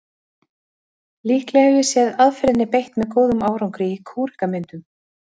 Líklega hef ég séð aðferðinni beitt með góðum árangri í kúrekamyndum.